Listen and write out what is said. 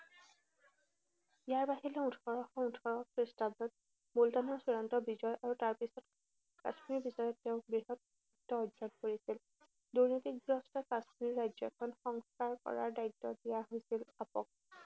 ইয়াৰ বাহিৰেও ওঠৰশ ওঠৰ খ্ৰীষ্টাব্দত মুলতানৰ চূড়ান্ত বিজয় আৰু তাৰপিছত কাশ্মীৰ বিষয়াই তেওঁক বৃহৎ কৰিছিল। দুৰ্নীতিগ্ৰস্ত কাশ্মীৰ ৰাজ্যখন সংস্কাৰ কৰাৰ দায়িত্ব দিয়া হৈছিল আপক।